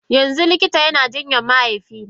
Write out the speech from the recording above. Yanzu likita yana jinyar mahaifina?